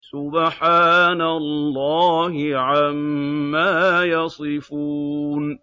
سُبْحَانَ اللَّهِ عَمَّا يَصِفُونَ